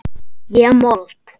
Ég mold.